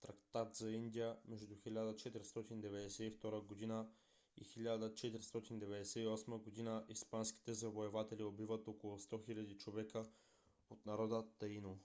трактат за индия между 1492 и 1498 г. испанските завоеватели убиват около 100 000 човека от народа таино